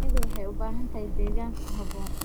Shinnidu waxay u baahan tahay deegaan ku habboon.